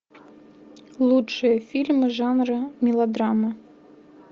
лучшие фильмы жанра мелодрама